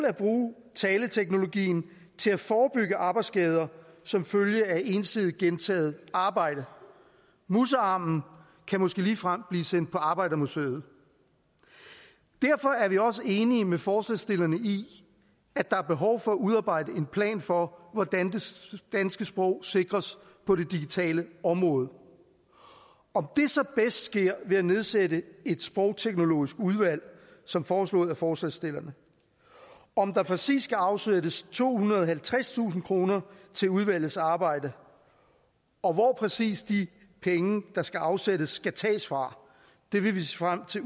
at bruge taleteknologien til at forebygge arbejdsskader som følge af ensidigt gentaget arbejde musearmen kan måske ligefrem blive sendt på arbejdermuseet derfor er vi også enige med forslagsstillerne i at der er behov for at udarbejde en plan for hvordan det danske sprog sikres på det digitale område om det så bedst sker ved at nedsætte et sprogteknologisk udvalg som foreslået af forslagsstillerne og om der præcis skal afsættes tohundrede og halvtredstusind kroner til udvalgets arbejde og hvor præcis de penge der skal afsættes skal tages fra vil vi se frem til